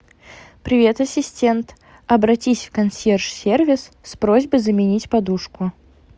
привет ассистент обратись в консьерж сервис с просьбой заменить подушку